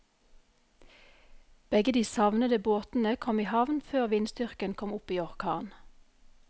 Begge de savnede båtene kom i havn før vindstyrken kom opp i orkan.